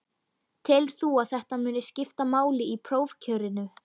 Telur þú að þetta muni skipta máli í prófkjörinu?